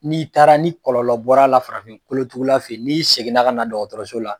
N'i taara ni kɔlɔlɔ bɔr'a la farafin kolotugula fɛ n'i seginna ka na dɔgɔtɔrɔso la